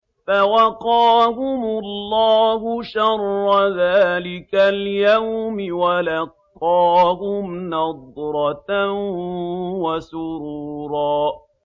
فَوَقَاهُمُ اللَّهُ شَرَّ ذَٰلِكَ الْيَوْمِ وَلَقَّاهُمْ نَضْرَةً وَسُرُورًا